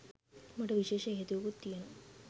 මට විශේෂ හේතුවකුත් තියෙනවා.